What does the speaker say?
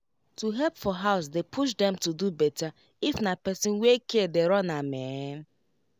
to help for house dey push dem to do better if na person wey care dey run am ehn